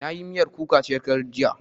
Na yi miyar kuka shekaran jiya